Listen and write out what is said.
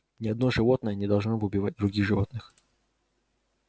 ни одно животное не должно убивать других животных